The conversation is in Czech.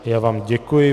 Já vám děkuji.